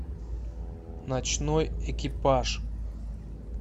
ночной экипаж